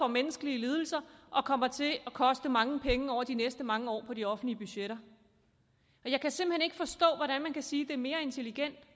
menneskelige lidelser og kommer til at koste mange penge over de næste mange år på de offentlige budgetter jeg kan simpelt hen ikke forstå hvordan man kan sige det er mere intelligent at